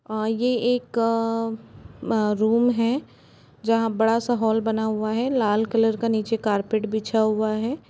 आ ये एक-क रूम है जहाँ बड़ा सा हॉल बना हुआ है लाल कलर का नीचे कारपेट बिछा हुआ है।